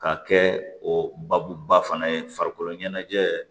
Ka kɛ o babuba fana ye farikolo ɲɛnajɛ